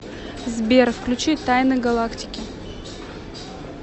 сбер включи тайны галактики